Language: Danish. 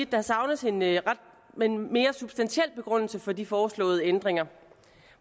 der savnes en mere substantiel begrundelse for de foreslåede ændringer